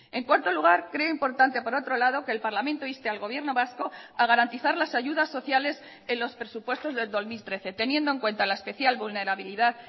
en cuarto lugar creo importante por otro lado que el parlamento inste al gobierno vasco a garantizar las ayudas sociales en los presupuestos del dos mil trece teniendo en cuenta la especial vulnerabilidad